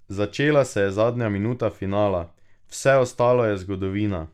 Začela se je zadnja minuta finala, vse ostalo je zgodovina!